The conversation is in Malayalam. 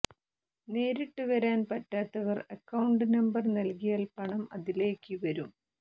നേരിട്ട് വരാൻ പറ്റാത്തവർ അക്കൌണ്ട് നമ്പർ നൽകിയാൽ പണം അതിലേക്ക് വരും